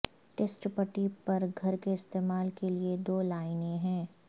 test پٹی پر گھر کے استعمال کے لئے دو لائنیں ہیں